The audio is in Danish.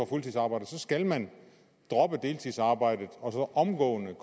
fuldtidsarbejde så skal man droppe deltidsarbejdet og omgående